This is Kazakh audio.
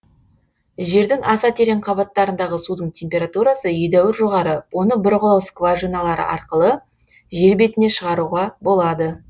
жердің аса терең қабаттарындағы судың температурасы едәуір жоғары оны бұрғылау скважиналары арқылы жер бетіне шығаруға болады